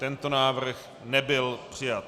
Tento návrh nebyl přijat.